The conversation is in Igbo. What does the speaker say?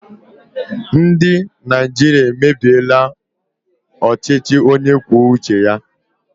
Ndị Naịjirịa emebiela ọchịchị onye kwuo uche ya.